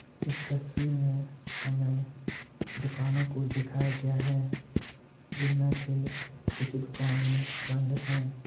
इस तस्वीर मे हमे दुकानों को दिखाया गया है जिनमे से कुछ दुकाने बंद है।